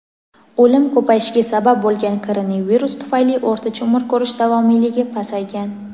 o‘lim ko‘payishiga sabab bo‘lgan koronavirus tufayli o‘rtacha umr ko‘rish davomiyligi pasaygan.